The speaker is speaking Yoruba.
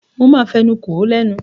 Mo máa fi ẹnu kò ó lẹ́nu.